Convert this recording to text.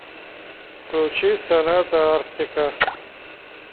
включи соната арктика